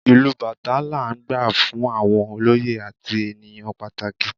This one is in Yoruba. Ìlù Batá la n gbá fún àwọn olóyè àti ènìyàn pàtàkì